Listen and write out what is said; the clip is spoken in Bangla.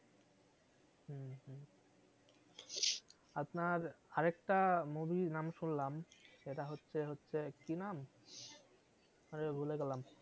আপনার আরেকটা movie র নাম শুনলাম সেটা হচ্ছে হচ্ছে কি নাম আরে ভুলে গেলাম